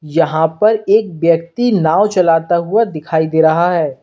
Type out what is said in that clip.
यहां पर एक व्यक्ति नाव चलाता हुआ दिखाई दे रहा है।